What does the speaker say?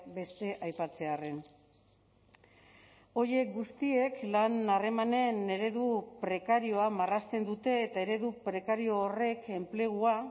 beste aipatzearren horiek guztiek lan harremanen eredu prekarioa marrazten dute eta eredu prekario horrek enplegua